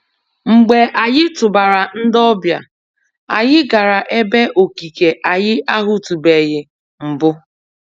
Mgbe anyị tụbara ndị ọbịa, anyị gara ebe okike anyị ahụtụbeghị mbụ.